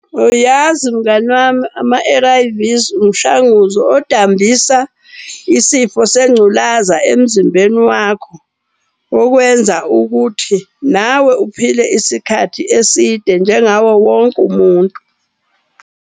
Uyazi mngani wami, ama-A_R_V's umshanguzo odambisa isifo sengculaza emzimbeni wakho. Okwenza ukuthi nawe uphile isikhathi eside njengawo wonke umuntu.